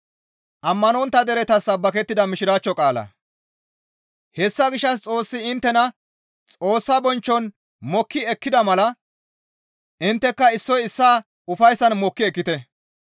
Hessa gishshas Xoossi inttena Xoossa bonchchon mokki ekkida mala intteka issoy issaa ufayssan mokki ekkite.